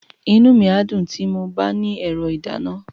Inú mi á dùn tí mo bá ní ẹ̀rọ ìdáná.